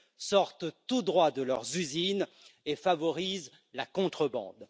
sortent tout droit de leurs usines et favorisent la contrebande.